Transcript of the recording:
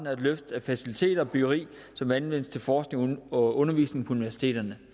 af et løft af faciliteter og byggeri som anvendes til forskning og undervisning på universiteterne